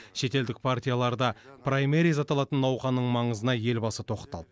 шетелдік партияларда праймериз аталатын науқанның маңызына елбасы тоқталды